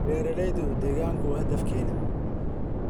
Beeralayda deegaanku waa hadafkeena.